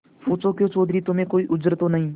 पूछाक्यों चौधरी तुम्हें कोई उज्र तो नहीं